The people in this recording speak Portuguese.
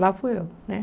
Lá fui eu né.